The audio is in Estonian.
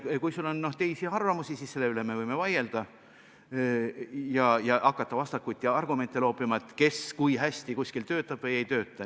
Kui sul on teisi arvamusi, siis selle üle me võime vaielda ja hakata vastakuti argumente loopima, kes kui hästi kuskil töötab või ei tööta.